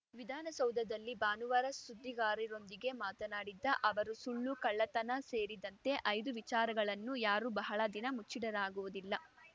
ವಿಧಾನಸೌಧದಲ್ಲಿ ಭಾನುವಾರ ಸುದ್ದಿಗಾರರೊಂದಿಗೆ ಮಾತನಾಡಿದ ಅವರು ಸುಳ್ಳು ಕಳ್ಳತನ ಸೇರಿದಂತೆ ಐದು ವಿಚಾರಗಳನ್ನು ಯಾರೂ ಬಹಳ ದಿನ ಮುಚ್ಚಿಡಲಾಗುವುದಿಲ್ಲ